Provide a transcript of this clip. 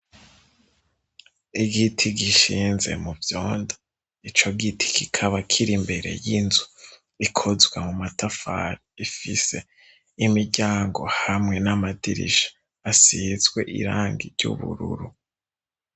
Igiti gishinze mu vyondo. Ico giti kikaba kiri mbere y'inzu ikozwe mu matafari, ifise imiryango hamwe n'amadirisha asizwe irangi ry'ubururu.